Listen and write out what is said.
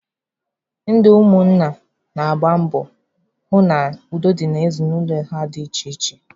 Ndị ụmụ nna na-agba mbọ hụ na udo dị n'ezinụlọ ha dị iche iche.